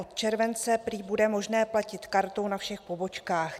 Od července prý bude možné platit kartou na všech pobočkách.